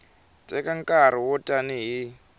teka nkarhi wo tani hi